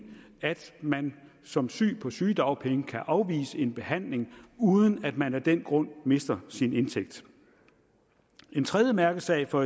at man som syg på sygedagpenge kan afvise en behandling uden at man af den grund mister sin indtægt en tredje mærkesag for